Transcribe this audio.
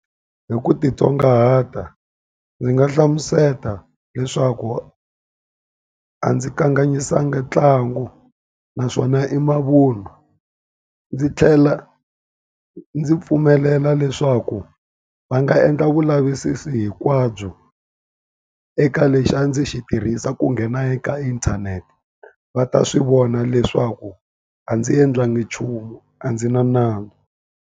Hi ku titsongahata, ndzi nga hlamusela leswaku a ndzi kanganyisanga ntlangu. Naswona i mavun'wa. Ndzi tlhela ndzi pfumelela na leswaku va nga endla vulavisisi hinkwabyo eka lexi a ndzi xi tirhisa ku nghena eka inthanete, va ta swi vona leswaku a ndzi endlangi nchumu. A ndzi na nandzu.